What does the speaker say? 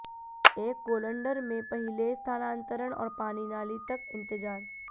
एक कोलंडर में पहिले स्थानांतरण और पानी नाली तक इंतजार